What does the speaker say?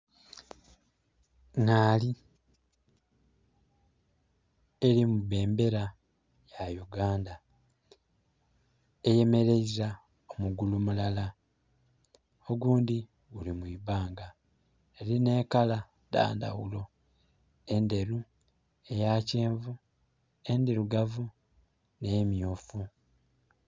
Ngaali eri mu bendera ya Uganda. Eyemereiza omugulu mulala, ogundhi guli mu ibanga, erina ekala dhandaghulo, enderu, eya kyenvu, endirugavu ne myufu.